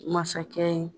Masakɛ ye